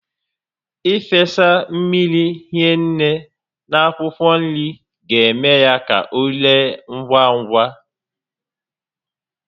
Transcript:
Ị fesa mmiri hinne na akwụkwọ nri ga-eme ka o ree ngwa ngwá